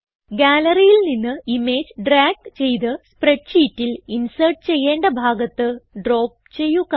Galleryൽ നിന്ന് image drag ചെയ്ത് സ്പ്രെഡ് ഷീറ്റിൽ ഇൻസേർട്ട് ചെയ്യേണ്ട ഭാഗത്ത് ഡ്രോപ്പ് ചെയ്യുക